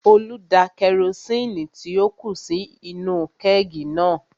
Olú da kerosini tí ó kù sí inú-u kẹ́ẹ̀gì náà